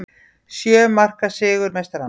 Sjö marka sigur meistaranna